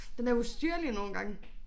Den er ustyrlig nogle gange